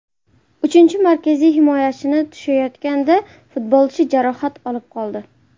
Uchinchi markaziy himoyachini tushayotganda futbolchi jarohat olib qoldi.